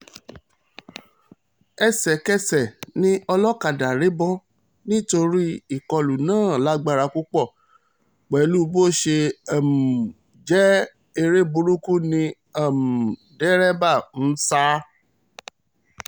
ẹsẹ̀kẹsẹ̀ ni olókàdá rébó nítorí ìkọlù náà lágbára púpọ̀ pẹ̀lú bó ṣe um jẹ́ èrè burúkú ni um dẹ́rẹ́bà ń sá